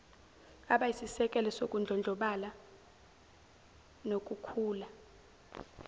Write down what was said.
abayisisekelo sokudlondlobala nokukhula